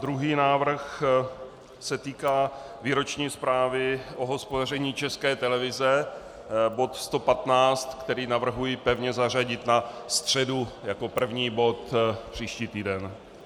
Druhý návrh se týká výroční zprávy o hospodaření České televize, bod 115, který navrhuji pevně zařadit na středu jako první bod příští týden.